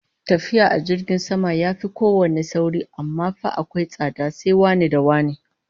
Tafiya ta jirgin sama yafi kowanne sauri, amma fa akwai tsada, sai wane da wane